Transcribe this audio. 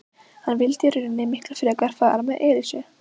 Hann vildi í rauninni miklu frekar fara með Elísu.